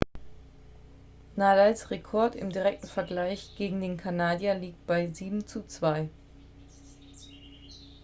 nadals rekord im direkten vergleich gegen den kanadier liegt bei 7:2